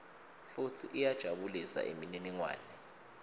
futsi iyajabulisa imininingwane